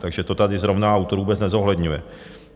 Takže to tady zrovna autor vůbec nezohledňuje.